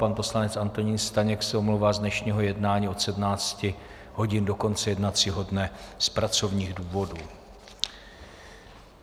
Pan poslanec Antonín Staněk se omlouvá z dnešního jednání od 17 hodin do konce jednacího dne z pracovních důvodů.